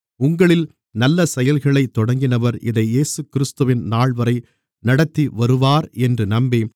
உங்களில் நல்லசெயல்களைத் தொடங்கினவர் அதை இயேசுகிறிஸ்துவின் நாள்வரை நடத்திவருவார் என்று நம்பி